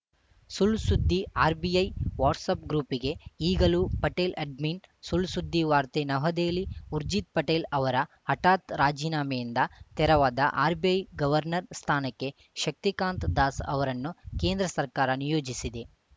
ಸುಳ್‌ ಸುದ್ದಿ RBI WhatsApp ಗ್ರೂಪ್‌ಗೆ ಈಗಲೂ ಪಟೇಲ್‌ ಅಡ್ಮಿನ್‌ ಸುಳ್‌ ಸುದ್ದಿ ವಾರ್ತೆ ನವದೆಹಲಿ ಊರ್ಜಿತ್‌ ಪಟೇಲ್‌ ಅವರ ಹಠಾತ್‌ ರಾಜೀನಾಮೆಯಿಂದ ತೆರವಾದ ಆರ್‌ಬಿಐ ಗವರ್ನರ್‌ ಸ್ಥಾನಕ್ಕೆ ಶಕ್ತಿಕಾಂತ್‌ ದಾಸ್‌ ಅವರನ್ನು ಕೇಂದ್ರ ಸರ್ಕಾರ ನಿಯೋಜಿಸಿದೆ